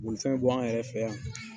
Bolifɛn b'ɔ an yɛrɛ fɛ yan